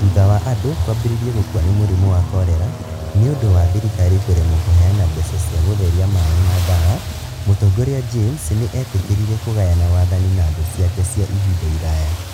Thutha wa andũ kwambĩrĩria gũkua nĩ mũrimũ wa korera nĩ ũndũ wa thirikari kũremwo kũheana mbeca cia gũtheria maaĩ na ndawa, Mũtongoria James nĩ eetĩkĩrire kũgayana wathani na thũ ciake cia ihinda iraya